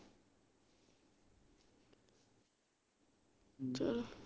ਚਲ